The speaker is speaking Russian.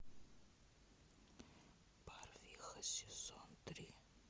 барвиха сезон три